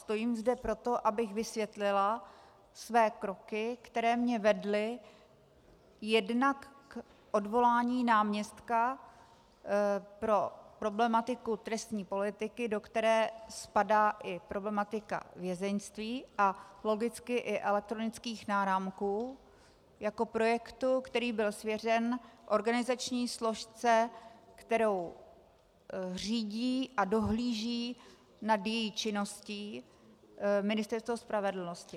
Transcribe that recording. Stojím zde proto, abych vysvětlila své kroky, které mě vedly jednak k odvolání náměstka pro problematiku trestní politiky, do které spadá i problematika vězeňství a logicky i elektronických náramků jako projektu, který byl svěřen organizační složce, kterou řídí a dohlíží nad její činností Ministerstvo spravedlnosti.